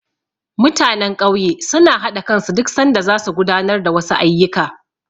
Mutanen ƙauye suna haɗa kansu duk sanda zasu gudanar da wasu ayyuka.